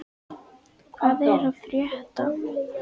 Hvað er að frétta??